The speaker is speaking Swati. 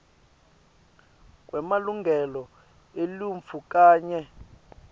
kwemalungelo eluntfu kanye